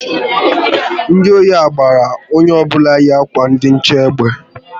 Ndị ori ahụ gbara onye ọbụla yi akwa ndi nche egbe